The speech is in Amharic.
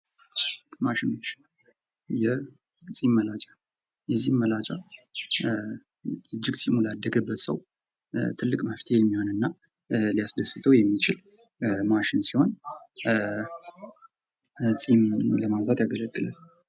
ማሽኖች ። የፂም መላጫ ፡ የፂም መላጫ እጅግ ፂሙ ላደገበት ሰው ትልቅ መፍትሔ የሚሆን እና ሊያስደስተው የሚችል ማሽን ሲሆን ፂም ለማብዛት ያገለግላል ።